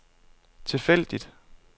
tilfældigt